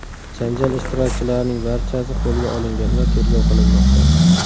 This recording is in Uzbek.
Janjal ishtirokchilarining barchasi qo‘lga olingan va tergov qilinmoqda.